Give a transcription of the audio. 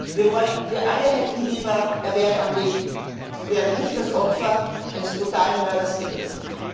Wir alle hätten lieber, er wäre am Leben, und wäre nicht das Opfer eines brutalen Mörders geworden.